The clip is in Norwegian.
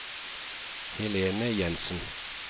Helene Jenssen